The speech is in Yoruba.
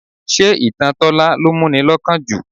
Ṣé ìtàn Tola ló mú ni lọ́kàn jù?